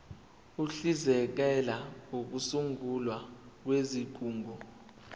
uhlinzekela ukusungulwa kwezigungu